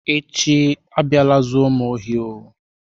Echi abịala zuru m ohi oh.